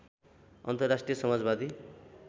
अन्तर्राष्ट्रिय समाजवादी